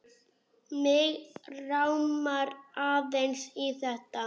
Mig rámar aðeins í þetta.